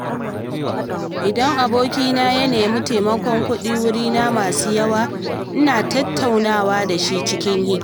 Idan abokina ya nemi taimakon kuɗi wurina masu yawa, ina tattaunawa da shi cikin hikima.